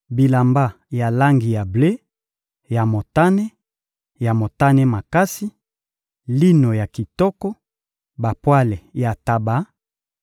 bilamba ya langi ya ble, ya motane, ya motane makasi, lino ya kitoko, bapwale ya ntaba,